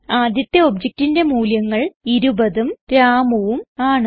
ആദ്യത്തെ objectന്റെ മൂല്യങ്ങൾ 20ഉം Ramuഉം ആണ്